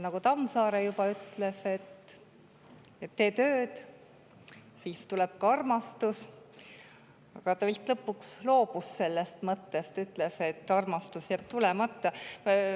Tammsaare ütles samuti, et tee tööd, siis tuleb ka armastus, aga ta vist lõpuks loobus sellest mõttest ja ütles, et armastus jääb tulemata.